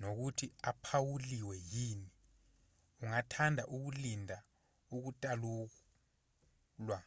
nokuthi uphawuliwe yini ungathanda ukulinda ukutakulwa